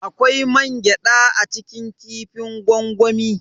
Akwai mangyada a cikin kifin gwangwami.